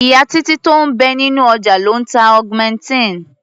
Ìyá Títí tó ń bẹ nínú ọjà ló ń ta augmentin.